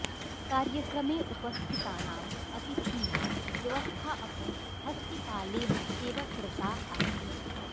कार्यक्रमे उपस्थितानाम् अतिथीनां व्यवस्था अपि हस्तिपालेन एव कृता आसीत्